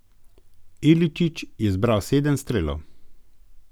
Iličić je zbral sedem strelov.